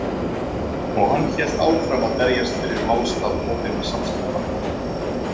Og hann hélt áfram að berjast fyrir málstað opinna samskipta.